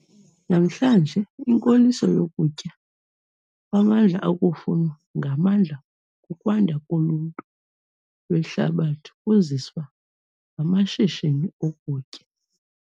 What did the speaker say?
Namhlanje, inkoliso yokutya kwamandla okufunwa ngamandla kukwanda koluntu lwehlabathi kuziswa ngamashishini okutya.